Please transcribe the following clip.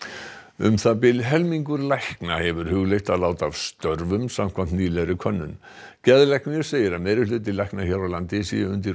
um það bil helmingur lækna hefur hugleitt að láta af störfum samkvæmt nýlegri könnun geðlæknir segir að meirihluti lækna hér á landi sé undir